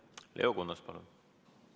Leo Kunnas, palun!